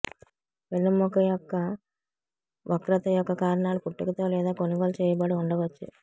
వెన్నెముక యొక్క వక్రత యొక్క కారణాలు పుట్టుకతో లేదా కొనుగోలు చేయబడి ఉండవచ్చు